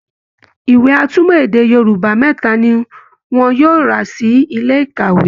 ìwé atúmọ̀ èdè Yorùbá mẹ́ta ni wọn yóò rà sí ilé ìkàwé